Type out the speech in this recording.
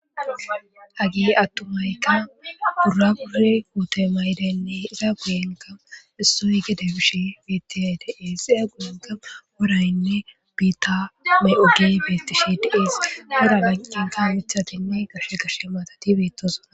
agee attumaykka gurra gure ute maydeynne iza guyenga hissoy gede bish bitiha dies xiya guuyenka woraynne biitta mey7ogey beetishi diees hedabanqanta mithatinne gashe gashe maatati beettosa